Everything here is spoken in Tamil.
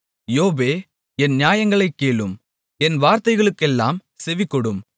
யோபே என் நியாயங்களைக் கேளும் என் வார்த்தைகளுக்கெல்லாம் செவிகொடும்